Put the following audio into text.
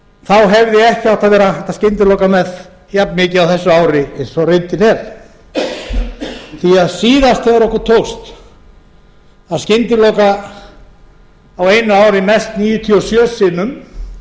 þá hefði ekki átt að vera hægt að skyndilokun jafnmikið á þessu ári og reyndin er því að síðast þegar okkur tókst að skyndilokun á einu ári mest níutíu og sjö